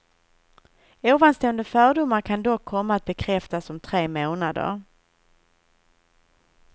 Ovanstående fördomar kan dock komma att bekräftas om tre månader.